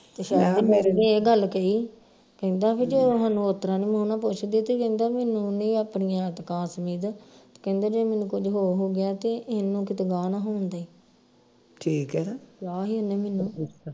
ਮੇਰੇ ਵੀ ਇਹ ਗੱਲ ਕਹੀ ਕਹਿੰਦਾ ਕਿ ਜੋ ਹਾਨੂੰ ਉਤਰਾਂ ਨਹੀਂ ਮੂੰਹ ਨਾਲ ਪੁੱਛਦੇ ਤੇ ਕਹਿੰਦਾ ਮੈਨੂੰ ਉਹਨੇ ਆਪਣੀਆਂ ਕਹਿੰਦਾ ਜੇ ਮੈਨੂੰ ਕੁਛ ਹੋਰ ਹੋ ਗਿਆ ਤੇ ਇਹਨੂੰ ਕਿਤੇ ਗਾਹ ਨਾ ਹੋ ਦਈ ਕਿਹਾ ਹੀ ਉਹਨੇ ਮੈਨੂ